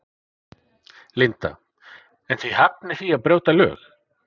Linda: En þið hafnið því að brjóta lög?